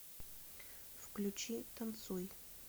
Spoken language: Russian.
включи танцуй